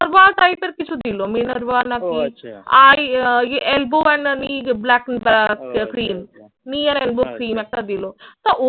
ব্যবহার type এর কিছু দিল। মিনার্ভা না কি আর ক্রিম একটা দিলো তা